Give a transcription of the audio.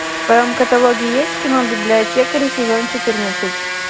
в твоем каталоге есть кино библиотекари сезон четырнадцать